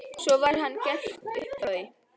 Svona var það gert upp frá því.